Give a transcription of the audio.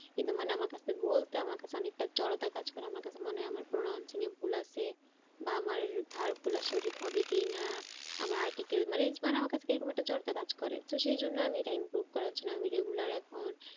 কিন্তু মানে আমার কাছে বলতে আমার কাছে অনেকটা জড়তা কাজ করে আমার কাছে মনে হয় আমার pronouncing এ ভুল আছে বা আমার verb গুলো সঠিক হবে কি না? আমার মানে আমার কাছে কিরকম একটা জড়তা কাজ করে তো সেই জন্য আমি এটা improve করার জন্য আমি regular এখন